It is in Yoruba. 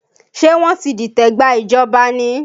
Ṣé wọ́n ti dìtẹ̀ gba ìjọba ni?